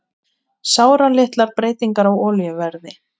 Sáralitlar breytingar á olíuverði